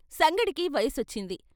సంగడికి వయసొచ్చింది.